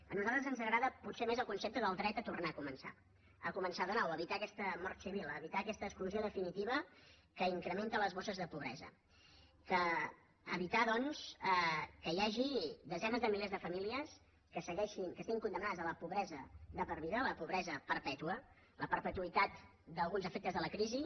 a nosaltres ens agrada potser més el concepte del dret a tornar a començar a començar de nou a evitar aquesta mort civil a evitar aquesta exclusió definitiva que incrementa les bosses de pobresa evitar doncs que hi hagi desenes de milers de famílies que estiguin condemnades a la pobresa de per vida a la pobresa perpètua la perpetuïtat d’alguns efectes de la crisi